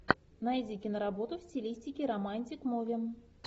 найди киноработу в стилистике романтик муви